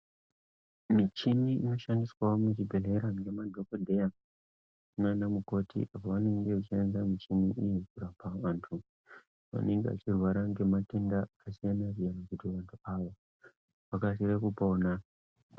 Mivhini inoshandiswa muzvibhedhlera ngemadhokodheya nana mukoti apo vanenge veishandisa muchini iyi kurapa vantu vanenge veirwara ngematenda akasiyana siyana kuti vantu aya vakasire kupona.